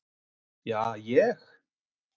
Ja, ég.